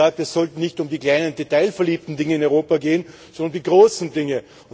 Ich habe gesagt, es sollte nicht um die kleinen, detailverliebten Dinge in Europa gehen, sondern um die großen Dinge.